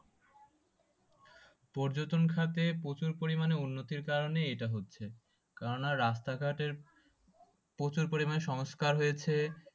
পর্যটন খাতে প্রচুর পরিমানে উন্নতির কারণে এটা হচ্ছে। কেন না রাস্তা ঘাটের প্রচুর পরিমানে সংস্কার হয়েছে।